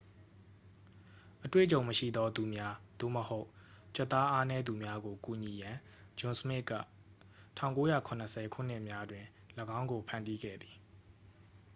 အတွေ့အကြုံမရှိသော သူများ သို့မဟုတ် ကြွက်သားအားနည်းသူများကို ကူညီရန် ဂျွန်စမစ်က 1970 ခုနှစ်များတွင် ၎င်းကို ဖန်တီးခဲ့သည်